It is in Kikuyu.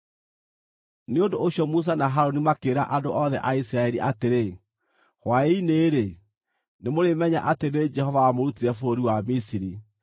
Nĩ ũndũ ũcio Musa na Harũni makĩĩra andũ othe a Isiraeli atĩrĩ, “Hwaĩ-inĩ-rĩ, nĩmũrĩmenya atĩ nĩ Jehova wamũrutire bũrũri wa Misiri,